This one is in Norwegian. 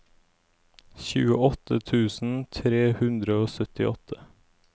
tjueåtte tusen tre hundre og syttiåtte